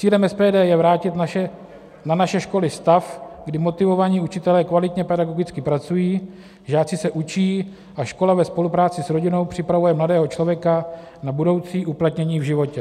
Cílem SPD je vrátit na naše školy stav, kdy motivovaní učitelé kvalitně pedagogicky pracují, žáci se učí a škola ve spolupráci s rodinou připravuje mladého člověka na budoucí uplatnění v životě.